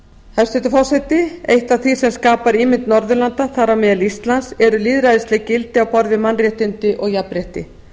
hæstvirtur forseti eitt af því sem skapar ímynd norðurlanda þar á meðal íslands eru lýðræðisleg gildi á borð við mannréttindi og jafnrétti